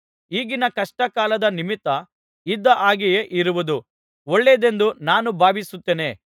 ಈಗಿನ ಕಷ್ಟ ಕಾಲದ ನಿಮಿತ್ತ ಇದ್ದ ಹಾಗೆಯೇ ಇರುವುದು ಒಳ್ಳೆಯದೆಂದು ನಾನು ಭಾವಿಸುತ್ತೇನೆ